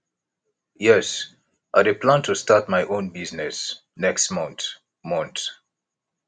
yes i dey plan to start my own business next month month